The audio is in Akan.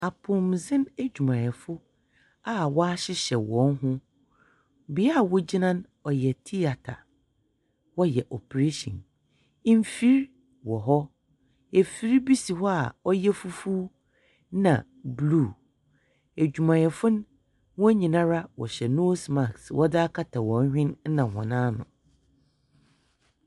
Apɔwmudzen edwumayɛfo a wɔahyehyɛ hɔn ho. Bea a wogyina no, ɔyɛ theatre. Wɔhyɛ operation. Mfir wɔ hɔ. Efir bi si hɔ a ɔyɛ fufuw na blue. Edwumayɛfo no, hɔn nyinara wɔhyɛ nose mask wɔdze akata hɔn hwene na hɔn ano.